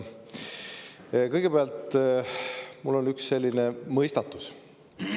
Kõigepealt mul on üks selline mõistatus.